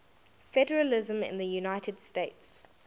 federalism in the united states